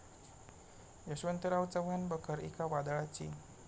यशवंतराव चव्हाण बखर एका वादळाची'